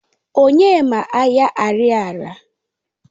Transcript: Onye ma Ahịa Ariaria?